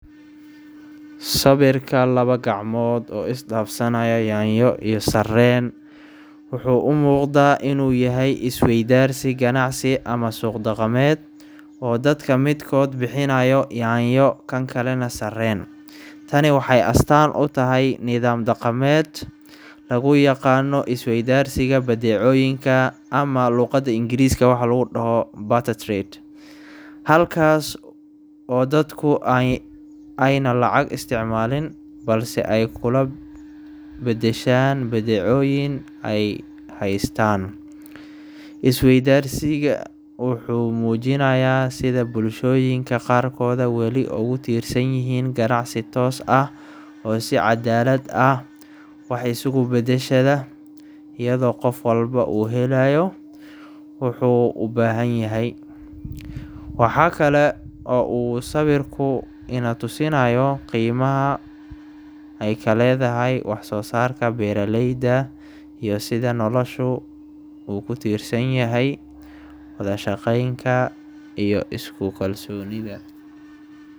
Sawirka laba gacmood oo is dhaafsanaya yaanyo iyo sarreen wuxuu u muuqdaa in uu yahay is-weydaarsi ganacsi ama suuq-dhaqameed, oo dadka midkood bixinayo yaanyo, kan kalena sarreen. Tani waxay astaan u tahay nidaam dhaqameed lagu yaqaano is-weydaarsiga badeecooyinka, ama luqada ingiriska waxa lagu dhaho barter trade, halkaas oo dadku ayna lacag isticmaalin balse ay kula beddeshaan badeecooyin ay haystaan. Is-weydaarsiga wuxuu muujinayaa sida bulshooyinka qaarkood weli ogu tiirsan yihiin ganacsi toos ah oo si cadaalad ah wax isugu beddeshada, iyadoo qof walba uu helayo waxuu u baahan yahay. Waxa kale oo uu sawirku ina tusayaa qiimaha ay ka leedahay wax soo saarka beeraleyda iyo sida noloshu u ku tiirsan tahay wada-shaqeynka iyo isku kalsoonida.